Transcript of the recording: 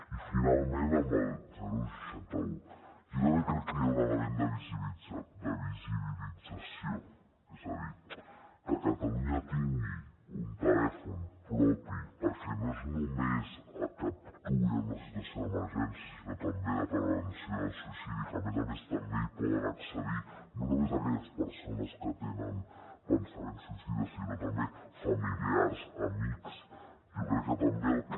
i finalment amb el seixanta un jo també crec que hi ha un element de visibilització és a dir que catalunya tingui un telèfon propi perquè no és només que actuï en una situació d’emergència sinó també de prevenció del suïcidi que a més a més també hi poden accedir no només aquelles persones que tenen pensaments suïcides sinó també familiars amics jo crec que també el que